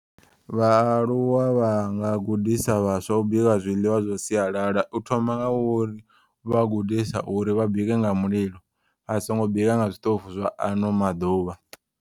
Vhaaluwa vhanga gudisa vhaswa u bika zwiḽiwa zwa siyalala. Uthoma nga uri vha gudisa uri vha bike nga mulilo. Vhasongo bika nga zwiṱofu zwa ano maḓuvha.